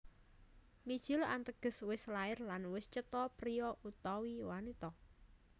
Mijil Ateges wis lair lan wis cetha priya utawa wanita